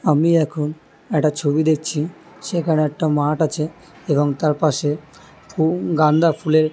আমি এখন একটা ছবি দেখছি সেখানে একটা মাঠ আছে এবং তার পাশে হম গান্দা ফুলের--